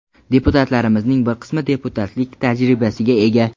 Deputatlarimizning bir qismi deputatlik tajribasiga ega.